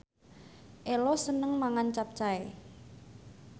Ello seneng mangan capcay